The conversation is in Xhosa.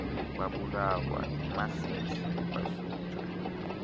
babulawa yimasisi basutywe